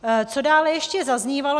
Co dále ještě zaznívalo.